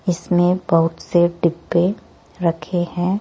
इसमें बहुत से डिब्बे रखे हैं।